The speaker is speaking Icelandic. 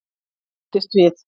Ég hresstist við.